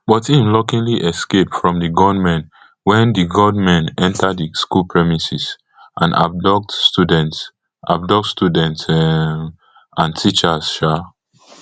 but im luckily escape from di gunmen wen di gunmen enta di school premises and abduct students abduct students um and teachers um